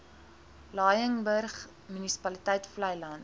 laingsburg munisipaliteit vleiland